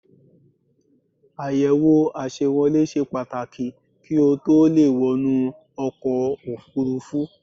Àyẹ̀wò àṣewolé ṣe Pàtàkì kí o tó le è wọnú ọkọ̀ òfurufú